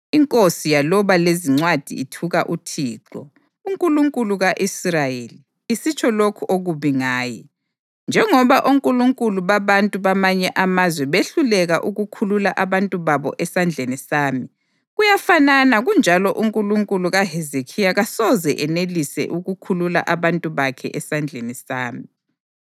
Inkosi yaloba lezincwadi ithuka uThixo, uNkulunkulu ka-Israyeli, isitsho lokhu okubi ngaye: “Njengoba onkulunkulu babantu bamanye amazwe behluleka ukukhulula abantu babo esandleni sami, kuyafanana kunjalo uNkulunkulu kaHezekhiya kasoze enelise ukukhulula abantu bakhe esandleni sami.”